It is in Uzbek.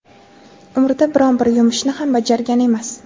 umrida biron-bir yumushni ham bajargan emas.